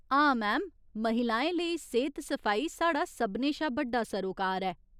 हां, मैम, महिलाएं लेई सेह्त सफाई साढ़ा सभनें शा बड्डा सरोकार ऐ।